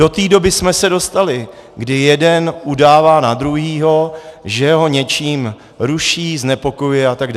Do té doby jsme se dostali, kdy jeden udává na druhého, že ho něčím ruší, znepokojuje atd.